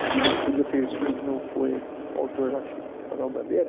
A vida que podia ter sido, e que não foi, o autor acho que, Manuel Bandeira?